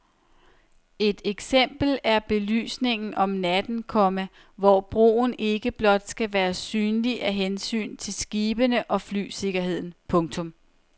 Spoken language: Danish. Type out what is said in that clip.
Et eksempel er belysningen om natten, komma hvor broen ikke blot skal være synlig af hensyn til skibene og flysikkerheden. punktum